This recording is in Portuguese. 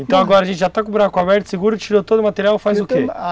Então agora a gente já está com o buraco aberto, seguro, tirou todo o material, faz o que?